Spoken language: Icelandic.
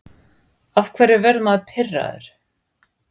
af hverju verður maður pirraður